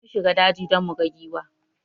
Mun shiga daji don muga giwa